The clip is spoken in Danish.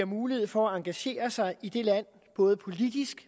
mulighed for at engagere sig i det land både politisk